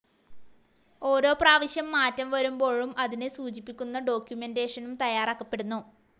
ഓരോ പ്രാവശ്യം മാറ്റം വരുമ്പോഴും അതിനെ സൂചിപ്പിക്കുന്ന ഡോക്ക്യുമെൻ്റേഷനും തയ്യാറാക്കപ്പെടുന്നു.